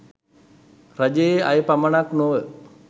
රජයේ අය පමණක් නොව